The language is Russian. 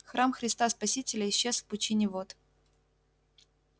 храм христа спасителя исчез в пучине вод